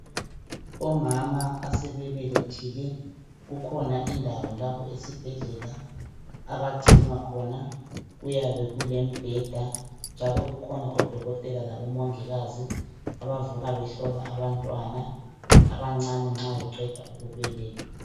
Omama abasebelethile kukhona indawo lapho esibhedlela abagcinwa khona. Kuyabe kulombheda njalo kukhona odokotela labomongikazi abavuka behlola abantwana abancane nxa beqeda ukubelethwa.